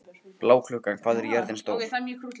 Bláklukka, hvað er jörðin stór?